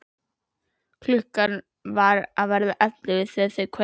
Klukkan var að verða ellefu þegar þau kvöddu.